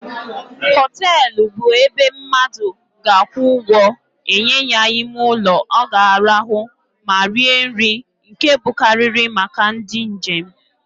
Hotelu bụ ebe mmadu ga akwụ ụgwọ enye ya ime ụlọ o ga-arahu ma rie nri, nke bụkarịrị màkà ndị njem.